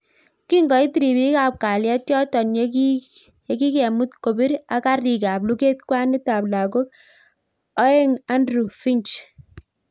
Kingoit ripiik ap kalyet yotok yekikemuut kopiir ak kariik ap luget kwanit ap lagok aong Andrew Finch